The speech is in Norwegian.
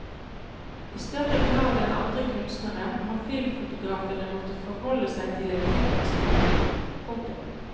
I større grad enn andre kunstnere har filmfotografene måttet forholde seg til en teknisk utvikling. punktum